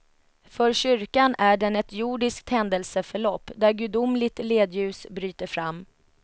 För kyrkan är den ett jordiskt händelseförlopp, där gudomligt ledljus bryter fram.